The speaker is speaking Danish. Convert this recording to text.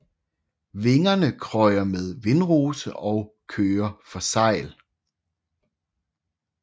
Vingerne krøjer med vindrose og kører for sejl